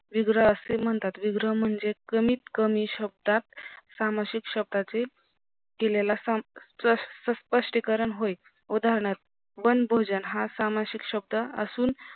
विग्रह असे म्हणतात विग्रह म्हणजे कमीत कमी शब्दात सामासिक शब्दाचे दिलेला स्पष्टीकरण होय उदानहार्थ बंद भोजन हा सामासिक शब्द असून